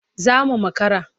Za mu makara.